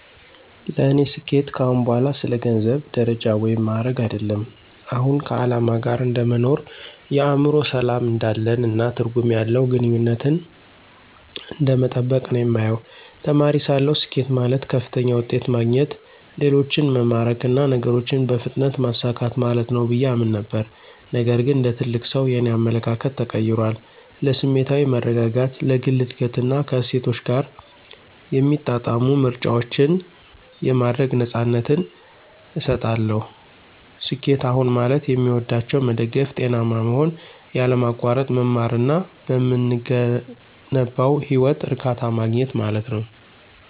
ለእኔ ስኬት ከአሁን በኋላ ስለ ገንዘብ፣ ደረጃ ወይም ማዕረግ አይደለም። አሁን ከዓላማ ጋር እንደ መኖር፣ የአእምሮ ሰላም እንዳለን፣ እና ትርጉም ያለው ግንኙነትን እንደመጠበቅ ነው የማየው። ተማሪ ሳለሁ፣ ስኬት ማለት ከፍተኛ ውጤት ማግኘት፣ ሌሎችን መማረክ እና ነገሮችን በፍጥነት ማሳካት ማለት ነው ብዬ አምን ነበር። ነገር ግን እንደ ትልቅ ሰው, የእኔ አመለካከት ተቀይሯል. ለስሜታዊ መረጋጋት፣ ለግል እድገት እና ከእሴቶቼ ጋር የሚጣጣሙ ምርጫዎችን የማድረግ ነፃነትን እሰጣለሁ። ስኬት አሁን ማለት የሚወዷቸውን መደገፍ፣ ጤናማ መሆን፣ ያለማቋረጥ መማር እና በምገነባው ህይወት እርካታ ማግኘት ማለት ነው።